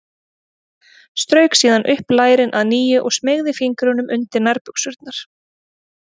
Strauk síðan upp lærin að nýju og smeygði fingrunum undir nærbuxurnar.